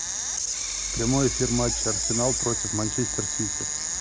прямой эфир матча арсенал против манчестер сити